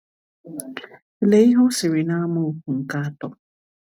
Lee ihe ọ sịrị na amaokwu nke atọ.